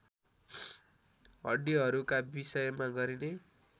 हड्डीहरूका विषयमा गरिने